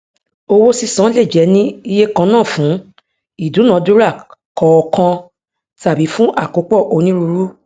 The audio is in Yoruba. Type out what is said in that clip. owó sísan lè jẹ ní ìye kannafún ìdúnàdúra kọọkan tabí fún àkópọ onírúurú